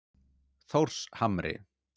Þórshamri